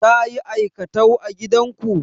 Ta yi aikatau a gidanku?